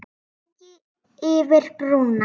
Fjúki yfir brúna.